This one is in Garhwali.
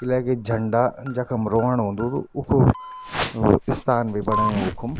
इलेकी झंडा जखम रोहण हुन्दू उख स्थान भी बनयु उखुम ।